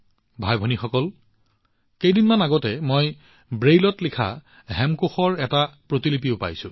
ভাইভনীসকল কেইদিনমান আগতে মই ব্ৰেইলত লিখা হেমকোষৰ এটা প্ৰতিলিপিও লাভ কৰিছিলো